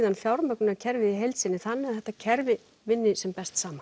fjármögnunarkerfið í heild sinni þannig þetta kerfi vinni sem best saman